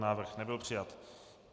Návrh nebyl přijat.